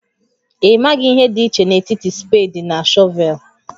Ị maghị ihe dị iche n'etiti spade na shọvel?